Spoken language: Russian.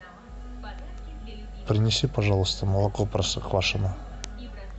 принеси пожалуйста молоко простоквашино